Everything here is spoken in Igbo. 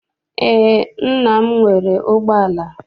Eé, nna m nwere ụgbọala.